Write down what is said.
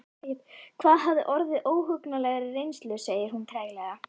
Hafði orðið fyrir óhugnanlegri reynslu, segir hún nú treglega.